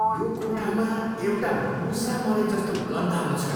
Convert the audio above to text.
यो कोठामा एउटा मुसा मरेजस्तो गन्ध आउँछ।